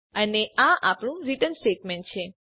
અને આ આપણું રિટર્ન સ્ટેટમેંટ છે